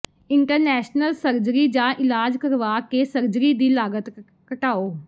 international surgery ਜਾਂ ਇਲਾਜ ਕਰਵਾ ਕੇ ਸਰਜਰੀ ਦੀ ਲਾਗਤ ਘਟਾਓ